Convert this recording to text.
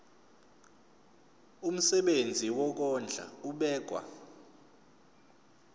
umsebenzi wokondla ubekwa